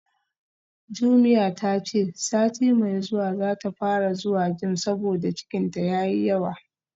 Jumia tace sati mai zuwa zata fara zuwa gym saboda cikinta yayi yawa